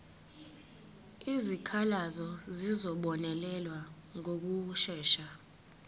izikhalazo zizobonelelwa ngokushesha